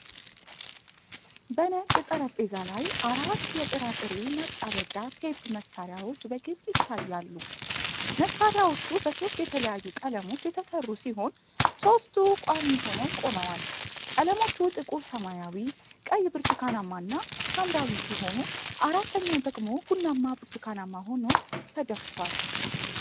በነጭ ጠረጴዛ ላይ አራት የጥራጥሬ ማጣበቂያ ቴፕ መሣሪያዎች በግልጽ ይታያሉ። መሣሪያዎቹ በሦስት የተለያዩ ቀለሞች የተሠሩ ሲሆን፤ ሦስቱ ቋሚ ሆነው ቆመዋል። ቀለሞቹ ጥቁር ሰማያዊ፣ ቀይ ብርቱካናማ እና ሐምራዊ ሲሆኑ፤ አራተኛው ደግሞ ቡናማ ብርቱካናማ ሆኖ ተደፍቷል።